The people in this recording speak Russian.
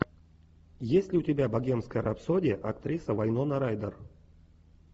есть ли у тебя богемская рапсодия актриса вайнона райдер